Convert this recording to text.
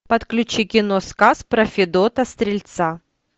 подключи кино сказ про федота стрельца